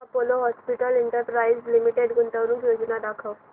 Apollo Hospitals Enterprise Limited गुंतवणूक योजना दाखव